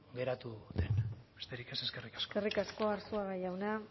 geratu den besterik ez eskerrik asko eskerrik asko arzuaga jauna